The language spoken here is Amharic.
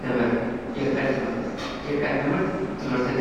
ትምህርት ፦ የርቀት ትምህርት ፦ የርቀት ትምህርት ትምህርትን